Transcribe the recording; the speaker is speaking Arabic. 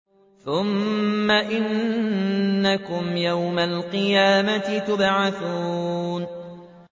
ثُمَّ إِنَّكُمْ يَوْمَ الْقِيَامَةِ تُبْعَثُونَ